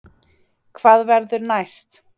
Hvað verður næst